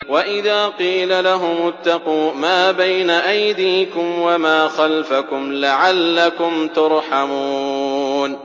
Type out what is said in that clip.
وَإِذَا قِيلَ لَهُمُ اتَّقُوا مَا بَيْنَ أَيْدِيكُمْ وَمَا خَلْفَكُمْ لَعَلَّكُمْ تُرْحَمُونَ